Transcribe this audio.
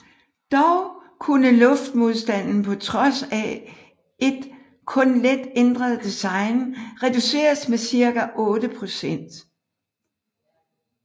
Dog kunne luftmodstanden på trods af et kun let ændret design reduceres med cirka otte procent